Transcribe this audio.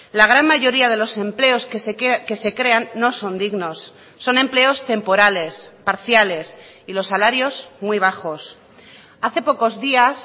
la gran mayoría de los empleos que se crean no son dignos son empleos temporales parciales y los salarios muy bajos hace pocos días